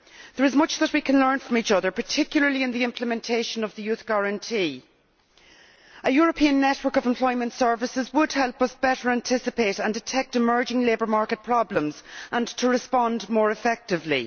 There is much that we can learn from each other, particularly in the implementation of the Youth Guarantee. A European network of employment services would help us better anticipate and detect emerging labour market problems and to respond more effectively.